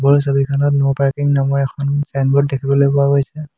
ওপৰৰ ছবিখনত no parking নামৰ এখন চাইনবোৰ্ড দেখিবলৈ পোৱা গৈছে।